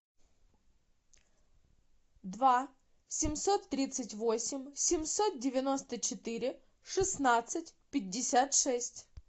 два семьсот тридцать восемь семьсот девяносто четыре шестнадцать пятьдесят шесть